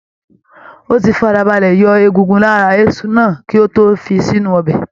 Ó ti farabalẹ̀ yọ egungun lára Azu náà kí ó tó fi sínú ọbẹ̀.